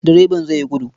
Direban zai yi gudu.